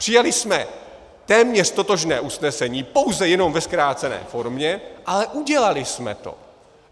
Přijali jsme téměř totožné usnesení, pouze jenom ve zkrácené formě, ale udělali jsme to.